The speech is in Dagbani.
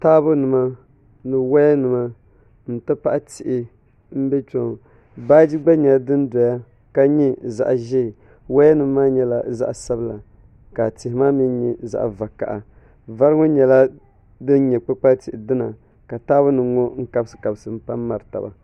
Taabo nima ni woya nima n ti pahi tihi n bɛ kpɛ ŋɔ baaji gba nyɛla din doya ka nyɛ zaɣ ʒiɛ woya nim maa nyɛla zaɣ sabila ka tihi maa mii nyɛ zaɣ vakaɣa vari ŋɔ nyɛla din nyɛ kpukpali tihi dina ka Taabo nom ŋɔ kabisi kabisi n pa n miri taba